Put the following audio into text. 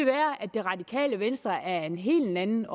det radikale venstre er af en helt anden